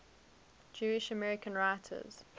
jewish american writers